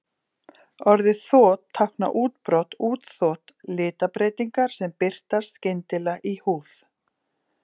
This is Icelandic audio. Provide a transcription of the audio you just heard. Orðið þot táknar útbrot, útþot, litabreytingar sem birtast skyndilega í húð.